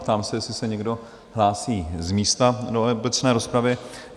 Ptám se, jestli se někdo hlásí z místa do obecné rozpravy?